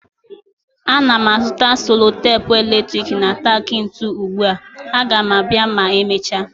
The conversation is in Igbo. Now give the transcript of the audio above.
Ana m azụta selotepu eletrik na tak ntu ugbu a, Aga m abịa ma emechaa